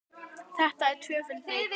Þetta er tvöföld neitun.